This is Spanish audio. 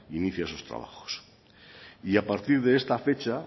inicia sus trabajos a partir de esta fecha